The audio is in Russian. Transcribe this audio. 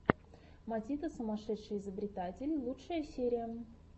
матита сумасшедший изобретатель лучшая серия